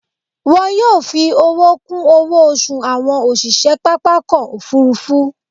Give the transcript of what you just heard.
Wọn yóò fi owó kún owó oṣù àwọn òṣìṣẹ́ pápákọ̀ òfúrúfú